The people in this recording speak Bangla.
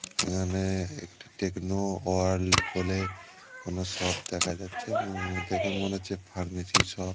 এখানে- একটি টেকনো ওয়ার্ল্ড বলে কোন সব দেখা যাচ্ছে ও দেখে মনে হচ্ছে ফার্মেসি সব --